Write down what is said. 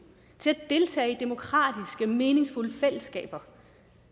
til at deltage i demokratiske og meningsfulde fællesskaber